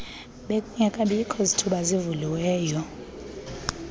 bekungekabikho zithuba zivelayo